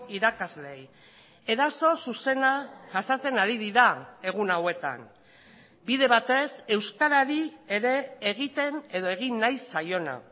irakasleei eraso zuzena jasaten ari dira egun hauetan bide batez euskarari ere egiten edo egin nahi zaiona